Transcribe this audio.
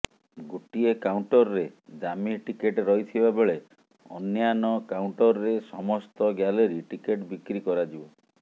ଗୋଟିଏ କାଉଣ୍ଟରରେ ଦାମି ଟିକେଟ ରହିଥିବା ବେଳେ ଅନ୍ୟାନ କାଉଣ୍ଟରରେ ସମସ୍ତ ଗ୍ୟାଲେରୀ ଟିକେଟ ବିକ୍ରି କରାଯିବ